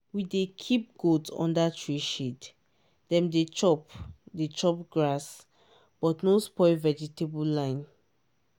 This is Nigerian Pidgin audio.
we dey keep goat under tree shade dem dey chop dey chop grass but no spoil vegetable line